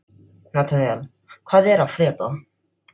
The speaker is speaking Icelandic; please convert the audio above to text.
Nataníel, hvað er að frétta?